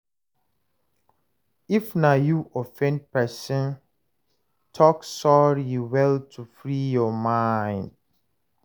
If na you offend person, talk sorry well to free your mind